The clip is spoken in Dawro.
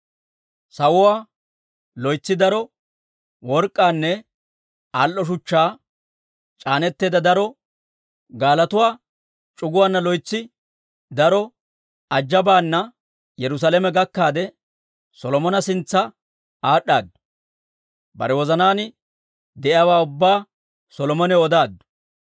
Sawuwaa, loytsi daro work'k'aanne al"o shuchchaa c'aaneteedda daro gaalotuwaa c'uguwaana loytsi daro ajabaana Yerusaalame gakkaade, Solomona sintsa aad'd'aadu. Bare wozanaan de'iyaawaa ubbaa Solomonaw odaaddu.